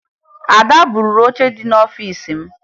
Ada buuru oche dị n'ọfiisi m